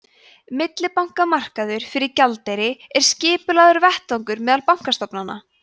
millibankamarkaður fyrir gjaldeyri er skipulagður vettvangur meðal bankastofnana